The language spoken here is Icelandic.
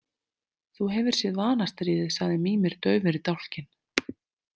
Þú hefur séð Vanastríðið, sagði Mímir daufur í dálkinn.